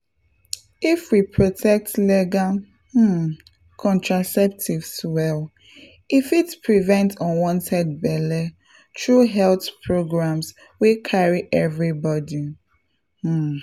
if we protect legal um contraceptives well e fit prevent unwanted belle through health programs wey carry everybody — um.